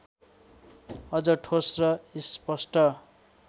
अझ ठोस र स्पष्ट